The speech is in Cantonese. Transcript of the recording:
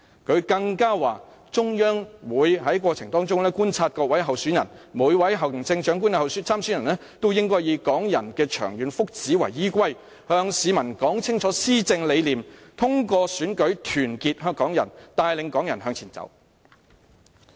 他更說"中央也會觀察各位參選人......每位行政長官參選人都應以港人的長遠福祉為依歸，向市民說清施政理念，通過選舉團結港人，帶領港人向前走。